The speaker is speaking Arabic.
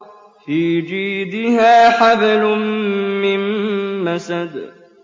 فِي جِيدِهَا حَبْلٌ مِّن مَّسَدٍ